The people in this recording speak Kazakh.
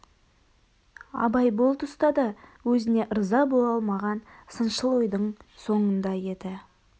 абай бұл тұста да өзіне ырза бола алмаған сыншыл ойдың соңында еді